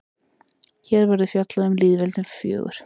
hér verður fjallað um hin lýðveldin fjögur